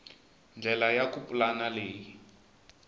ndlela ya ku pulana leyi